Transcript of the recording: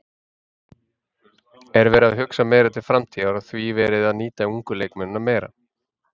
Er verið að hugsa meira til framtíðar og því verið að nýta ungu leikmennina meira?